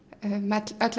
öll